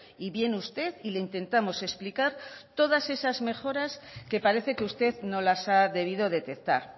y viene usted y le intentamos explicar todas esas mejoras que parece que usted no las ha debido detectar